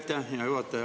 Aitäh, hea juhataja!